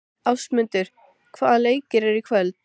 Ásmundur, hvaða leikir eru í kvöld?